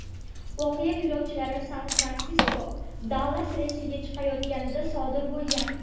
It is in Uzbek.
Voqea yo‘lovchilar San-Fransisko–Dallas reysiga chiqayotganida sodir bo‘lgan.